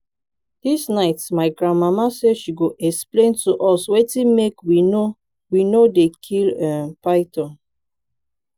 dis night my grandmama say she go explain to us wetin make we no we no dey kill um python